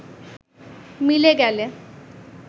মিলে গেলে